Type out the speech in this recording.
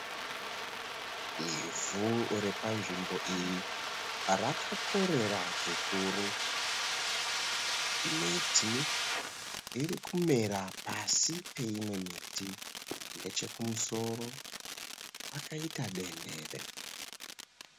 Ivhu repanzvimbo iyi rakakorera zvikuru. Miti iri kumera pasi peimwe miti. Nechekumusoro, kwakaita denhere.